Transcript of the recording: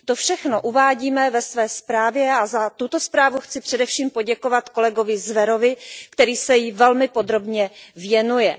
To všechno uvádíme ve své zprávě a za tuto zprávu chci především poděkovat kolegovi Zverovi, který se jí velmi podrobně věnuje.